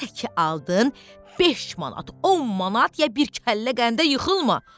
Elə ki aldın, 5 manat, 10 manat ya bir kəllə qəndə yıxılma.